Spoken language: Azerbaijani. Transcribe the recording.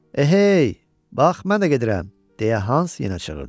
Ehey! Bax, mən də gedirəm! – deyə Hans yenə çığırdı.